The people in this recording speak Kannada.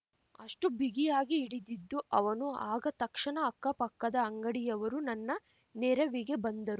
ಅಷ್ಟುಬಿಗಿಯಾಗಿ ಹಿಡಿದಿದ್ದು ಅವನು ಆಗ ತಕ್ಷಣ ಅಕ್ಕ ಪಕ್ಕದ ಅಂಗಡಿಯವರು ನನ್ನ ನೆರವಿಗೆ ಬಂದರು